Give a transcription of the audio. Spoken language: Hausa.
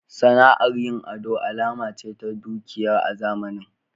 Sana'ar yin ado alama ce ta dukiya a zamanin.